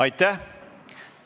Aitäh!